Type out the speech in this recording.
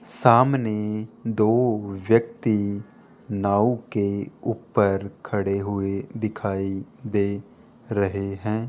सामने दो व्यक्ति नाव के ऊपर खड़े हुए दिखाई दे रहे हैं।